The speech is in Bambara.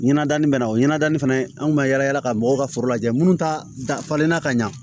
Ɲɛnadanin bɛ na o ɲɛnadani fana an kun bɛ yala yala ka mɔgɔw ka foro lajɛ minnu ta dafalenna ka ɲa